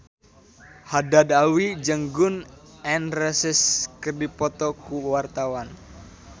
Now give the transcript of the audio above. Haddad Alwi jeung Gun N Roses keur dipoto ku wartawan